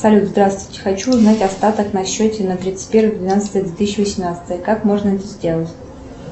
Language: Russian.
салют здравствуйте хочу узнать остаток на счете на тридцать первое двенадцатое две тысячи восемнадцатое как можно это сделать